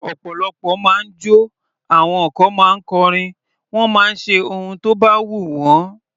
Ọ̀pọ̀lọpọ̀ ma ń jọ́, àwọn kan ma ń kọrin, wọ́n máa ń ṣe ohun tó bá wù wọ́n.